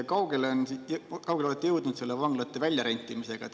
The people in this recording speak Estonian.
Kaugele te olete jõudnud vanglate väljarentimise?